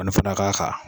Ka n'o fana k'a kan